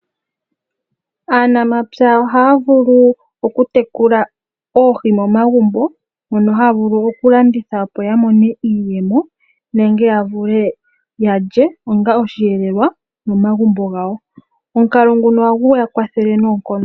Aanamapya ohaya vulu okutekula oohi momagumbo, mono haya vulu okulanditha opo yamone iiyemo nenge yavule yalye onga oshiyelelwa momagumbo gawo. Omukalo nguno ohagu yakwathele noonkondo.